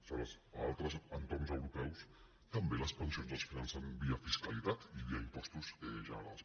aleshores a altres entorns europeus també les pensions es financen via fiscalitat i via impostos generals